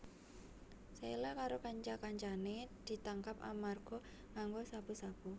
Sheila karo kanca kancané ditangkap amarga nganggo sabu sabu